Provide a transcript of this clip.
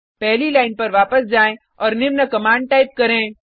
पहली लाइन पर वापस जाएँ और निम्न कमांड टाइप करें